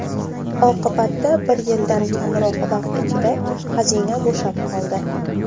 Oqibatda, bir yildan kamroq vaqt ichida xazina bo‘shab qoldi.